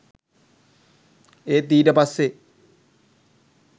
ඒත් ඊට පස්සේ